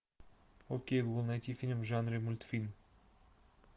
окей гугл найти фильм в жанре мультфильм